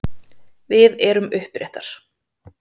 Við erum uppréttar.